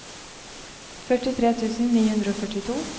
førtitre tusen ni hundre og førtito